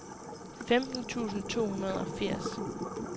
femten tusind to hundrede og firs